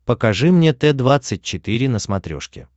покажи мне т двадцать четыре на смотрешке